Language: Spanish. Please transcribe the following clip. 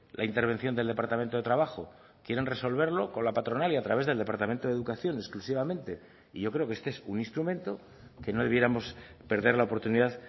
la intervención del departamento de trabajo quieren resolverlo con la patronal y a través del departamento de educación exclusivamente y yo creo que este es un instrumento que no debiéramos perder la oportunidad